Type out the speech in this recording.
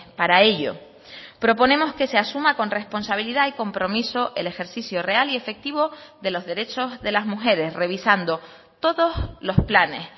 para ello proponemos que se asuma con responsabilidad y compromiso el ejercicio real y efectivo de los derechos de las mujeres revisando todos los planes